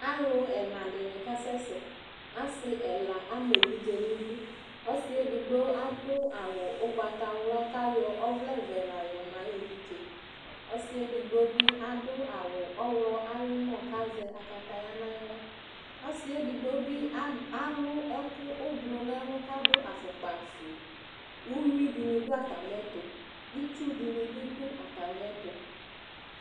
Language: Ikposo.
Alʋ ɛna dɩnɩ kasɛ sɛ Asɩ ɛla am'evidze n'idu, ɔsɩ edigbo adʋ awʋ ʋgbatawla kayɔ ɔvlɛvɛ la yɔma ayevidzee Ɔsɩ edigbo bɩ awʋ oɣlɔ ayʋmɔ kazɛ akataya naɣla Ɔsɩ edigbo bɩ alʋ ɛkʋ ʋblʋ n'ɛlʋ kadv afʋkpafue Uyui dinɩnɩ dv atamɩɛtʋ itsu dɩnɩ bɩ dʋ atamɩɛtʋ